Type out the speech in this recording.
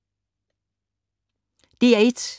DR1